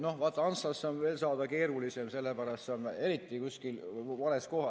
No vaata, Antslasse on veel keerulisem saada, sellepärast et see on kuskil vales kohas.